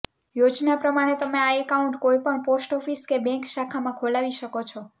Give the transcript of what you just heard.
યોજના પ્રમાણે તમે આ એકાઉન્ટ કોઈ પણ પોસ્ટ ઓફિસ કે બેંક શાખામાં ખોલાવી શકો છો